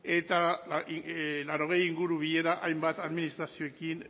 eta laurogei inguru bilera hainbat administrazioekin